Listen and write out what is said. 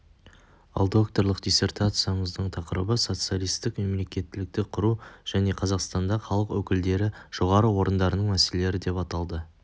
ал докторлық диссертаңияңыздың тақырыбы социалистік мемлекеттілікті құру және қазақстанда халық өкілдері жоғары орындарының мәселелері деп аталды